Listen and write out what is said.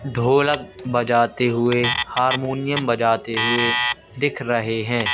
ढोलक बजाते हुए हारमोनियम बजाते हुए दिख रहे हैं।